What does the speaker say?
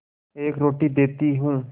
एक रोटी देती हूँ